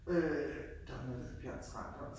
Øh der var noget der hed Bjørns Radio